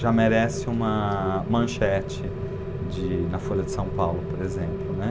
já merece uma manchete de na Folha de São Paulo, por exemplo, né.